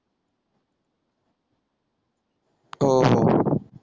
हो हो हो